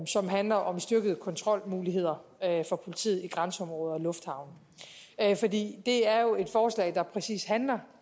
som handler om styrkede kontrolmuligheder for politiet i grænseområder og lufthavne det er jo et forslag der præcis handler